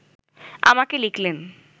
আমাকে লিখলেন